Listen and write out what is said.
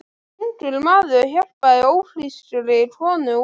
Ungur maður hjálpaði ófrískri konu út.